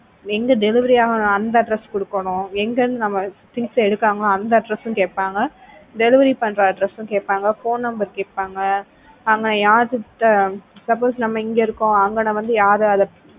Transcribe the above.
எங்க delivery ஆகணும் அந்த address கொடுக்கிறோம் எங்க நம்ம things எடுக்குறாங்களோ அந்த address கேட்பாங்க delivery பண்ற address கேப்பாங்க phone number கேட்பாங்க அங்க யார்கிட்ட suppose நம்ம இங்கே இருக்கோம் அங்கன வந்து யாரு